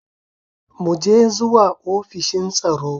Mu je zuwa ofishin tsaro.